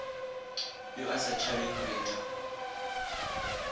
yo a sa tšhabeng retha